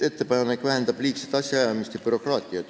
" Ettepanek vähendab liigset asjaajamist ja bürokraatiat.